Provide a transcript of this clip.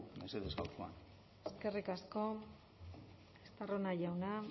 mesedez gaurkoan eskerrik asko estarrona jauna